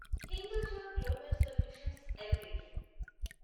Hinduja global solutions LTD